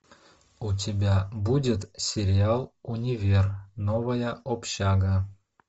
у тебя будет сериал универ новая общага